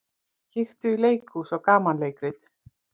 Kíktu í leikhús á gamanleikrit.